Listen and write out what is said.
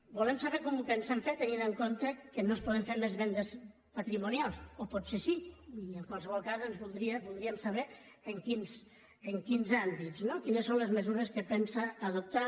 volem saber com ho pensen fer tenint en compte que no es poden fer més vendes patrimonials o potser sí i en qualsevol cas voldríem saber en quins àmbits no quines són les mesures que pensa adoptar